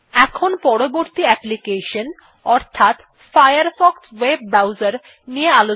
এখন পরবর্তী অ্যাপ্লিকেশন অর্থাৎ ফায়ারফক্স ভেব Browser এ যাওয়া যাক